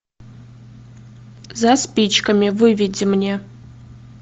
за спичками выведи мне